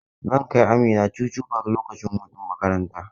Zan kai Amina Chuchu park lokacin hutun makaranta.